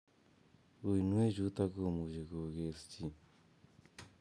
Uinwechutok komuchi kokees chi